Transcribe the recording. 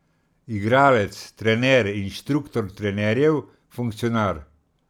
Igralec, trener, inštruktor trenerjev, funkcionar.